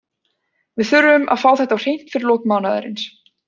Við þurfum að fá þetta á hreint fyrir lok mánaðarins.